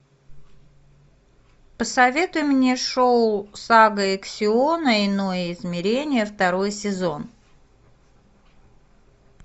посоветуй мне шоу сага иксиона иное измерение второй сезон